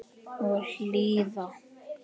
Og hlýða.